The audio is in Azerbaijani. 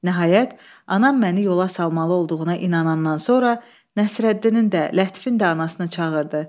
Nəhayət, anam məni yola salmalı olduğuna inanandan sonra Nəsrəddinin də, Lətifin də anasını çağırdı.